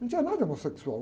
Não tinha nada homossexual.